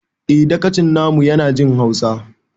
Eh dagacin na mu ya na jin hausa